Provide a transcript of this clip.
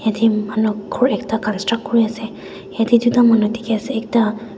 Yatheh manu ghor ekta construct kurey ase yatheh duida manu dekhe ase ekta--